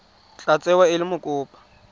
tla tsewa e le mokopa